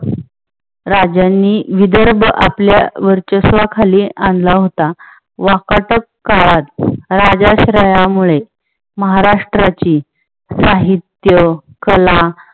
राजांनी विदर्भ आपल्या वर्चस्वा खाली आणला होता. वाकाटक राजाश्रयामुळे काळात महाराष्ट्राची साहित्य, कला